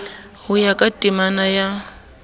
ho ya ka temana ya